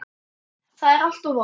Það er alltaf von!